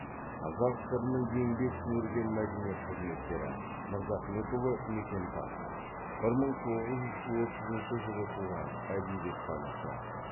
қазақ сср інің еңбек сіңірген мәдениет қызметкері мырзахметұлы мекемтас бір мың тоғыз жүз отызыншы жылы туған әдебиеттанушы